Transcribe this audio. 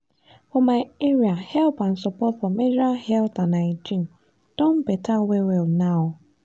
for my area help and support for menstrual health and hygiene don better well well now.